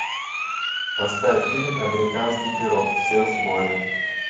поставь фильм американский пирог все в сборе